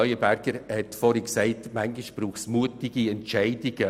Leuenberger hat vorhin gesagt, manchmal brauche es mutige Entscheide.